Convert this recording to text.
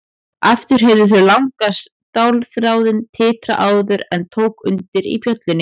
Aftur heyrðu þau langa stálþráðinn titra áður en tók undir í bjöllunni.